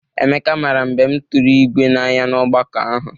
Emeka mara mbem tụrụ ígwé n'anya n'ọgbakọ ahụ.